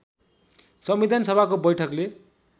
संविधान सभाको बैठकले